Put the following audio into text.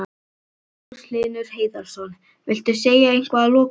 Magnús Hlynur Hreiðarsson: Viltu segja eitthvað að lokum?